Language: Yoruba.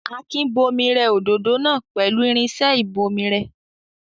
Akin bomirẹ òdòdó náà pẹ̀lú irinṣẹ́ ìbomirẹ.